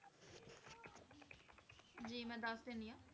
ਜੀ ਮੈਂ ਦੱਸ ਦਿੰਦੀ ਹਾਂ।